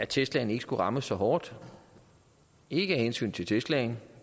teslaen ikke skulle rammes så hårdt ikke af hensyn til teslaen